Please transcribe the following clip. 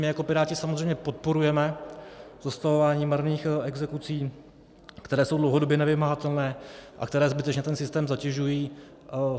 My jako Piráti samozřejmě podporujeme zastavování marných exekucí, které jsou dlouhodobě nevymahatelné a které zbytečně ten systém zatěžují.